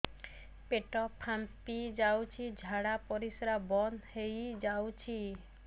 ପେଟ ଫାମ୍ପି ଯାଉଛି ଝାଡା ପରିଶ୍ରା ବନ୍ଦ ହେଇ ଯାଉଛି